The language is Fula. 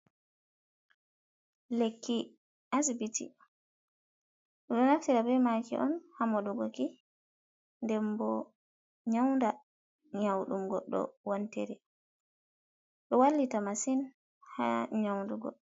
Lekki asbiti ɗum ɗo naftira be maaki on hamoɗugoki, denbo nyaunda nyau ɗum goɗɗo wontiri ɗo wallita masin ha nyaundugo.